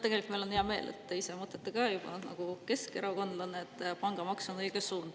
Meil on hea meel, et te mõtlete juba nagu keskerakondlane, et pangamaks on õige suund.